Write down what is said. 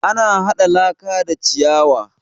Ana haɗa laka da ciyawa